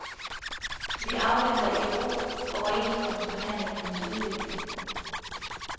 Vi afventer i ro overenskomstforhandlingernes udvikling.